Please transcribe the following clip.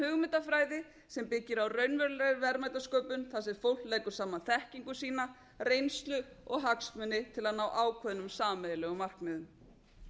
hugmyndafræði sem byggir á raunverulegri verðmætasköpun þar sem fólk leggur saman þekkingu sína reynslu og hagsmuni til að ná ákveðnum sameiginlegum markmiðum